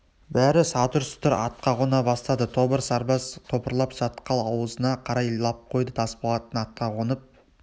бәрі сатыр-сұтыр атқа қона бастады тобыр сарбаз топырлап шатқал аузына қарай лап қойды тасболат атқа қонып